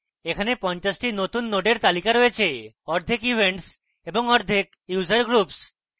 এখানে 50 টি নতুন নোডের তালিকা রয়েছেঅর্ধেকevents এবং অর্ধেক user groups